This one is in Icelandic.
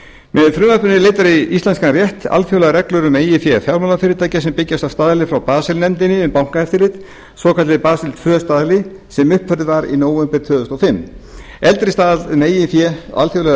frumvarpinu eru leiddar í íslenskan rétt alþjóðlegar reglur um eigið fé fjármálafyrirtækja sem byggjast á staðli frá basel nefndinni um bankaeftirlit svonefndum basel tvö staðli sem uppfærður var í nóvember tvö þúsund og fimm eldri staðall um eigið fé alþjóðlegra